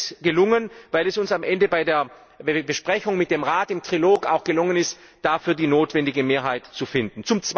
Es ist gelungen, weil es uns am Ende bei der Besprechung mit dem Rat im Trilog auch gelungen ist, dafür die notwendige Mehrheit zu finden.